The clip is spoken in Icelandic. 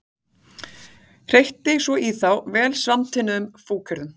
Hreytti svo í þá vel samantvinnuðum fúkyrðum.